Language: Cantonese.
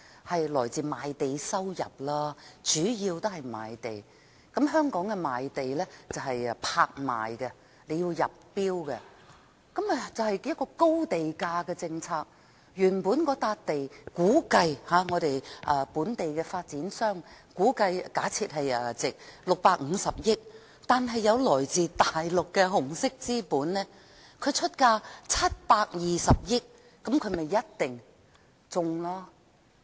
香港賣地是以拍賣方式進行的，由發展商入標，實行高地價政策，原本香港本地的發展商估計或假設某幅地的價值為650億元，但來自大陸的紅色資本出價720億元，這便一定中標。